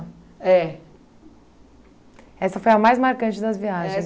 É. Essa foi a mais marcante das viagens?